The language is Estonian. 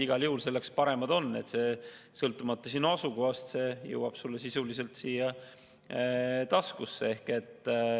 Igal juhul on e-kanalid paremad, sõltumata su asukohast jõuab teade sulle sisuliselt taskusse.